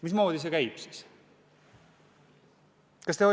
Mismoodi see toimiks?